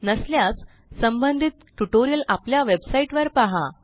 नसल्यास संबंधित ट्युटोरियल आपल्या वेबसाईटवर पहा